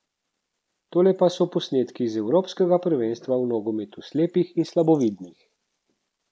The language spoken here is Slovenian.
Tole pa so posnetki z evropskega prvenstva v nogometu slepih in slabovidnih.